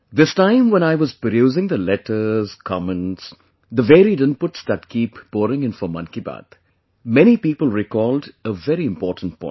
This time when I was perusing the letters, comments; the varied inputs that keep pouring in for Mann ki Baat, many people recalled a very important point